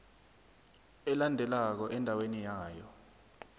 elandelako endaweni yayo